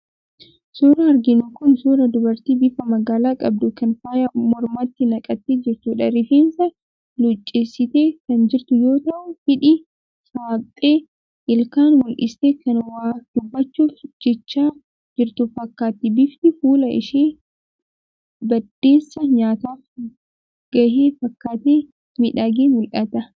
Suuraan arginu kun suuraa dubartii bifa magaala qabduu, kan faaya mormatti naqattee jirtudha. Rifeensa luuccessitee kan jirtu yoo ta'u, hidhii saaqxee ilkaan mul'istee kan waa dubbachuuf jechaa jirtu fakkaatti. Bifti fuula ishee baddeessaa nyaataaf gahe fakkaatee miidhagee mul'ata.